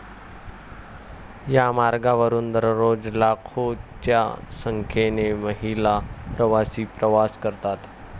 या मार्गावरून दररोज लाखोंच्या संख्येने महिला प्रवासी प्रवास करतात.